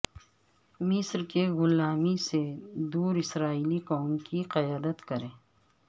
مصر کے غلامی سے دور اسرائیلی قوم کی قیادت کریں